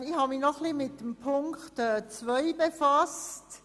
Ich habe mich noch etwas mit Ziffer 2 befasst.